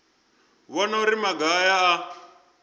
vhona uri maga aya a